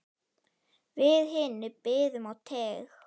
Við hinir biðum á teig.